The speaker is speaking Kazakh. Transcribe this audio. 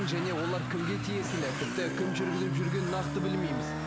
және олар кімге тиесілі тіпті кім жүргізіп жүргенін нақты білмейміз